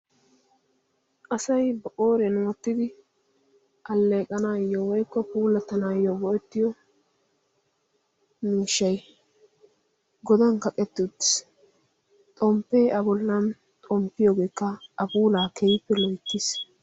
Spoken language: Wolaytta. asay ba qooriyan wottidi alleeqanaayyo woikko puulattanaayyo go7ettiyo miishshai godan kaqettutis xomppee abollan xomppiyoogeekka afuulaa keiippe loittiis